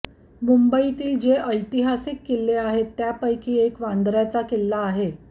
मुंबईतील जे ऐतिहासिक किल्ले आहेत त्यापैकी एक वांद्रय़ाचा किल्ला आहे